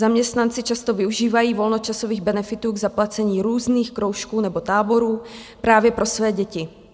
Zaměstnanci často využívají volnočasových benefitů k zaplacení různých kroužků nebo táborů právě pro své děti.